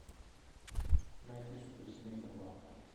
найди суперсемейка два